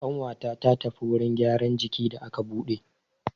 Ƙawata ta tafi wurin gyaran jiki da aka buɗe.